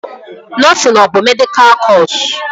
Nọsịn a bụ medịkal kọsu?